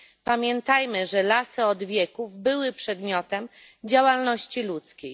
Pamiętajmy, że lasy od wieków były przedmiotem działalności ludzkiej.